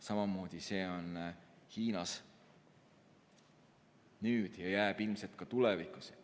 Samamoodi on see Hiinas nüüd ja jääb ilmselt ka tulevikus.